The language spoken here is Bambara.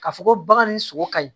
Ka fɔ ko bagan ni sogo ka ɲi